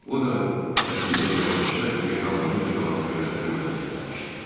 O da kətildə yavaşca yellənə-yellənə gözlərini mənə zilləmişdi.